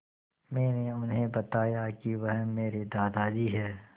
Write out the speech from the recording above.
मैंने उन्हें बताया कि वह मेरे दादाजी हैं